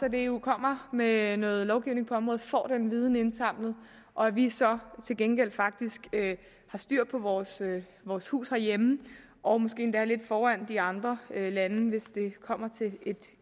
at eu kommer med noget lovgivning på området får den viden indsamlet og at vi så til gengæld faktisk har styr på vores vores hus herhjemme og måske endda er lidt foran de andre lande hvis det kommer til et